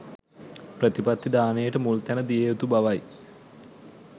ප්‍රතිපත්ති දානයට මුල් තැන දිය යුතු බවයි.